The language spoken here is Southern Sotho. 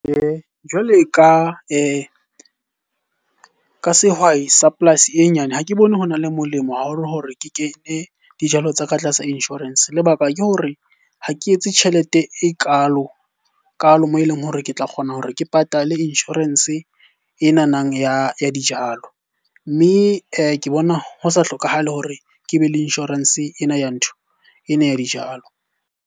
Jwale ka ka sehwai sa polasi e nyane, ha ke bone ho na le molemo haholo hore ke kene dijalo tsa ka tlasa insurance. Lebaka ke hore ha ke etse tjhelete ekalo-kalo moo e leng hore ke tla kgona hore ke patale insurance enanang ya dijalo. Mme ke bona ho sa hlokahale hore ke be le insurance ena ya ntho, ena ya dijalo.